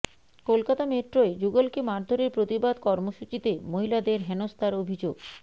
কলকাতা মেট্রোয় যুগলকে মারধরের প্রতিবাদ কর্মসূচিতে মহিলাদের হেনস্থার অভিযোগ